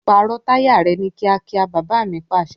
Pààrọ̀ táyà rẹ ni kíákíá! Baba mi Pàṣẹ.